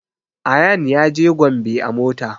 Ayaan ya je gombe a mota